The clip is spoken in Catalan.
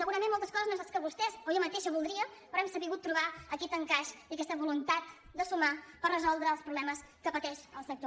segurament moltes coses no són les que vostès o jo mateixa voldríem però hem sabut trobar aquest encaix i aquesta voluntat de sumar per resoldre els problemes que pateix el sector